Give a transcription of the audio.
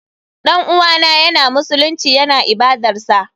Dan uwana yana masallaci yana ibadarsa.